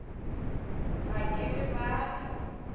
ga ke re ba re